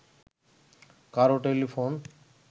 কারও টেলিফোন